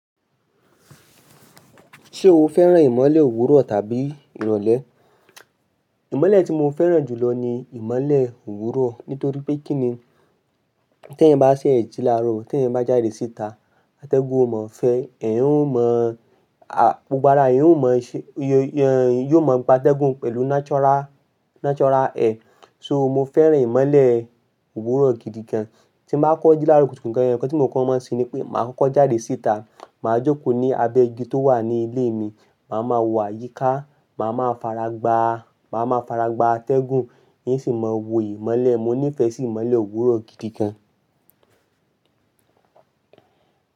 Ṣé o fẹ́ràn ìmọ́lẹ̀ òwúrọ̀ tàbí ìrọlẹ̀? Ìmọ́lẹ̀ tí mo fẹ́ràn jù lọ ni ìmọ́lẹ̀ òwúrọ̀. Nítorí pé kíni tí eyan bá ṣẹ́ ẹ jí láàárọ̀, tí ẹ̀yin bá jáde síta, atẹ́gùn ò mọ fẹ́ ẹ, eyan ò mọ̀, a, gbogbo ara eyan ò mọ̀ ṣe, yóò mọ̀ gba atẹ́gùn pẹ̀lú natural, natural air. So mo fẹ́ràn ìmọ́lẹ̀ òwúrọ̀ gidi gan. Tí n bá kọ́ jí láàárọ̀ kutukutu, nnkan tí mo kọ́ máa ń ṣe ni pé màá kọ́kọ́ jáde síta. Màá jókòó ní abẹ́ igi tó wà ní ilé mi, màá máa wọ àyíká, màá máa faragbá, màá máa faragbá atẹ́gùn, ín sì máa wò ìmọ́lẹ̀. Mo nífẹ̀ẹ́ sì ìmọ́lẹ̀ òwúrọ̀ gidi gan.